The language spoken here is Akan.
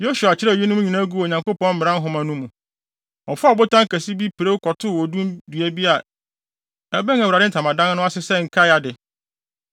Yosua kyerɛw eyinom nyinaa guu Onyankopɔn Mmara Nhoma no mu. Ɔfaa ɔbotan kɛse bi pirew kɔtoo odum dua bi a ɛbɛn Awurade ntamadan no ase sɛ nkae ade.